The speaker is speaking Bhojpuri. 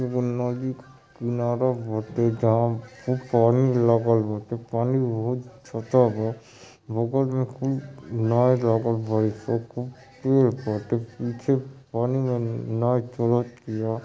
एगो नदी क किनारा बाटे जहां खूब पानी लागल बाटे पानी बहुत बा। बगल मे खूब नाय लागल बाड़ी स खूब पेड़ बाटे। पीछे पानी मे नाय चल तिया।